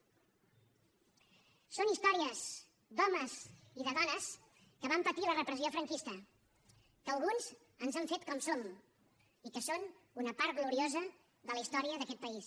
són històries d’homes i de dones que van patir la repressió franquista que a alguns ens han fet com som i que són una part gloriosa de la història d’aquest país